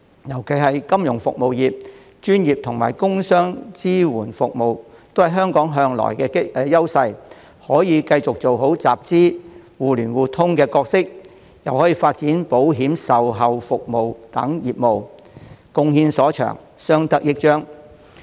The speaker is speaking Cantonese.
尤其是香港的金融服務業和專業及工商業支援服務業一直享有優勢，可以繼續做好集資、互聯互通的角色，又可發展保險售後服務等業務，貢獻所長，相得益彰。